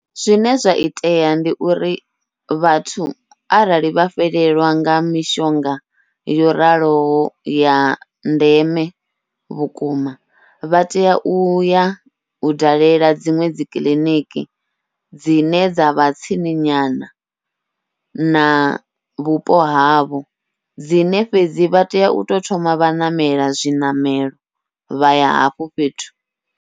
Zwine zwa itea ndi uri vhathu arali vha fhelelwa nga mishonga yo raloho ya ndeme vhukuma, vha tea uya u dalela dziṅwe dzi kiḽiniki dzine dzavha tsini nyana na vhupo havho, dzine fhedzi vha tea uto thoma vha ṋamela zwiṋamelo vha ya hafho fhethu.